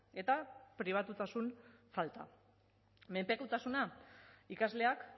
eta pribatutasun falta menpekotasuna ikasleak